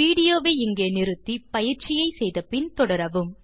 video வை இங்கே நிறுத்தி பயிற்சியை செய்து முடித்து பின் தொடரவும்